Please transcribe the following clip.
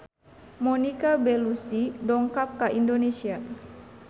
Monica Belluci dongkap ka Indonesia